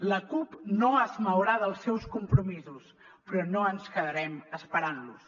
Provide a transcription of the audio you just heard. la cup no es mourà dels seus compromisos però no ens quedarem esperant los